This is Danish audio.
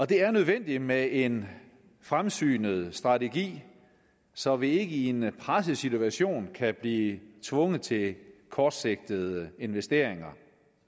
det er nødvendigt med en fremsynet strategi så vi ikke i en presset situation kan blive tvunget til kortsigtede investeringer